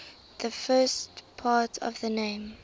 the first part of the name